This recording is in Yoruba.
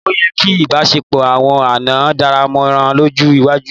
Ó yẹ kí ìbáṣepọ̀ àwọn àná dámọ̀ràn lọ́jọ́ iwájú.